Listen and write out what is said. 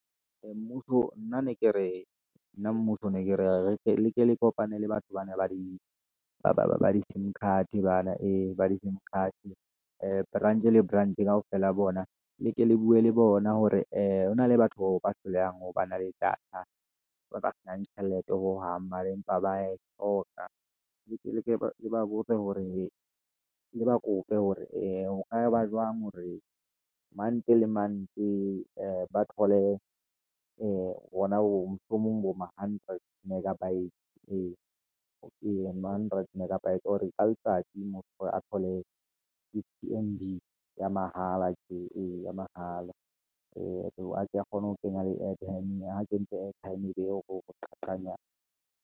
nna ne ke re nna ne ke re leke le kopane le batho bana ba di kapa ba di-sim card bana e ba di-sim card, branch le branch kaofela ya bona. Le ke le bue le bona hore ee, hona le batho bao ba hlolehang ho ba na le data, ba ba fang tjhelete hohang. Mara empa ba e hloka, ke ba botse hore ke ba kope hore eh ho ka ba jwang hore month le month ba thole hona hoo mohlomong bo ma 100 megabytes ee, 100 megabytes. ka letsatsi motho a thole ya mahala. Eya mahala hore a tle a kgone ho kenya le airtime, ha kentse airtime e be o .